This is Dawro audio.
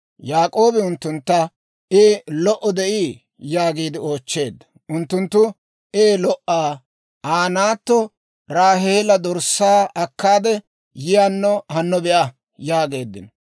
Yaak'oobi unttuntta, «I lo"o de'ii?» yaagiide oochcheedda. Unttunttu, «Ee, lo"a; Aa naatta Raaheela dorssaa akkaade yewunno hanno be'a» yaageeddino.